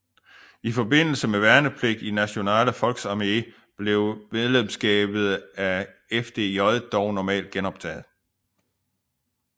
I forbindelse med værnepligt i Nationale Volksarmee blev medlemskabet af FDJ dog normalt genoptaget